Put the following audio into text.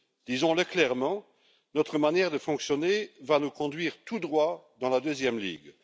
Disons le clairement, notre manière de fonctionner va nous conduire tout droit dans la deuxième ligue.